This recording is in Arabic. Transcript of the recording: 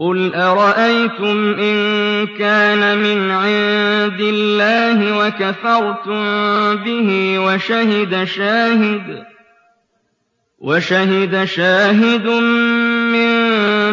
قُلْ أَرَأَيْتُمْ إِن كَانَ مِنْ عِندِ اللَّهِ وَكَفَرْتُم بِهِ وَشَهِدَ شَاهِدٌ مِّن